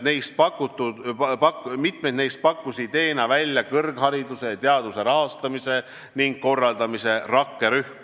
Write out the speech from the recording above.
Mitmed neist pakkus ideena välja kõrghariduse ja teaduse rahastamise ning korraldamise rakkerühm.